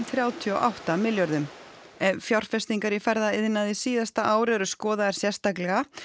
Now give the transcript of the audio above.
þrjátíu og átta milljörðum ef fjárfestingar í ferðaiðnaði síðasta ár eru skoðaðar sérstaklega